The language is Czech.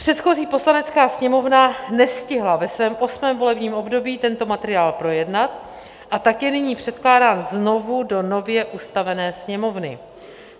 Předchozí Poslanecká sněmovna nestihla ve svém 8. volebním období tento materiál projednat, a tak je nyní předkládán znovu do nově ustavené Sněmovny.